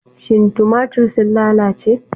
Shin tumatir sun lalace?